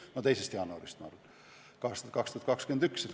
No tegelikult siiski 2. jaanuarist, ma arvan.